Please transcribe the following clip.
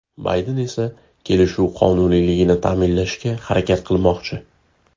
Bayden esa kelishuv qonuniyligini ta’minlashga harakat qilmoqchi.